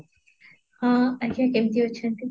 ହଁ ଆଜ୍ଞା କେମିତି ଅଛନ୍ତି?